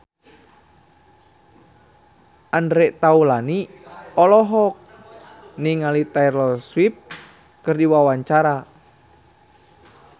Andre Taulany olohok ningali Taylor Swift keur diwawancara